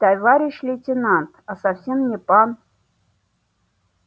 товарищ лейтенант а совсем не пан